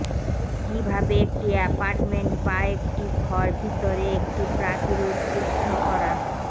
কিভাবে একটি অ্যাপার্টমেন্ট বা একটি ঘর ভিতরে একটি প্রাচীর উদ্বুদ্ধ করা